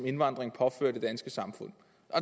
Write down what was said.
indvandringen påfører det danske samfund